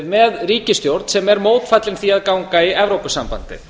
með ríkisstjórn sem er mótfallin því að ganga í evrópusambandið